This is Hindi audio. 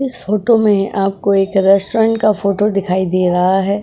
इस फोटो में आपको एक रेस्टोरेंट का फोटो दिखाई दे रहा है।